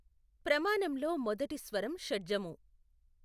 ప్రమాణంలో మొదటి స్వరం షడ్జము.